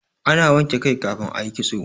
ana wanke kai kafin a yi kitso